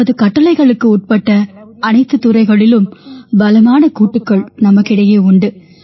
நமது கட்டளைகளுக்கு உட்பட்ட அனைத்துத் துறைகளிலும் பலமான கூட்டுக்கள் நமக்கிடையே உண்டு